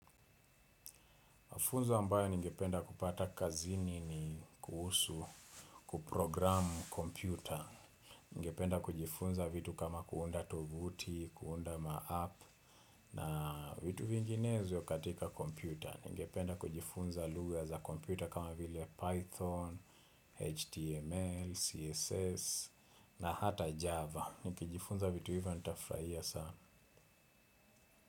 Mafunzo ambayo ningependa kupata kazini ni kuhusu, kuprogramu kompyuta. Ningependa kujifunza vitu kama kuunda tovuti, kuunda ma-app na vitu vinginezo katika kompyuta. Ningependa kujifunza lugha za kompyuta kama vile Python, HTML, CSS na hata Java. Nikijifunza vitu hivyo nitafurahia sana.